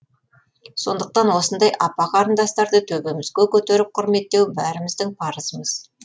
сондықтан осындай апа қарындастарды төбемізге көтеріп құрметтеу бәріміздің парызымыз